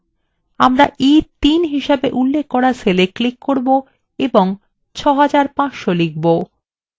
আমরা e3 হিসেবে উল্লেখ করা cellwe click করব এবং 6500 লিখব